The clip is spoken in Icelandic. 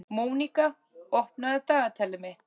Mónika, opnaðu dagatalið mitt.